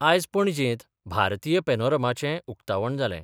आयज पणजेंत भारतीय पेनोरमाचे उक्तावण जालें.